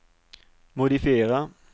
modifiera